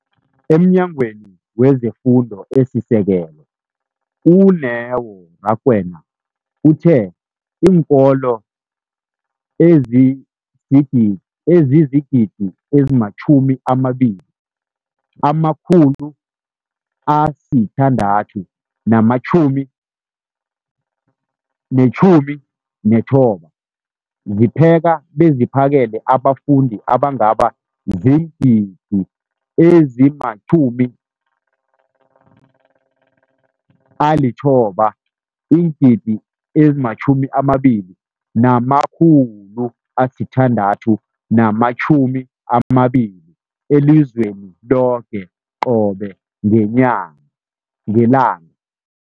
EmNyangweni wezeFundo esiSekelo, u-Neo Rakwena, uthe iinkolo ezizi-20 619 zipheka beziphakele abafundi abangaba ziingidi ezili-9 032 622 elizweni loke qobe ngelanga ngelanga.